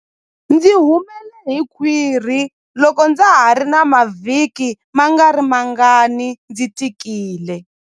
Ndzi humele hi khwiri loko ndza ha ri na mavhiki mangarimangani ndzi tikile.